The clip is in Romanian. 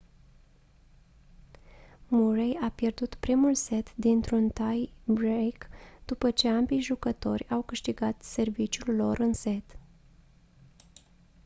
murray a pierdut primul set dintr-un tie break după ce ambii jucători au câștigat serviciul lor în set